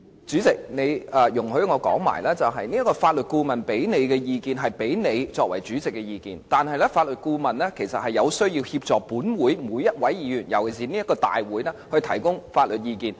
主席，容許我把話說完，法律顧問向你提供的意見，是給你作為主席的意見，但法律顧問有需要協助每一位議員，尤其是就立法會會議提供法律意見。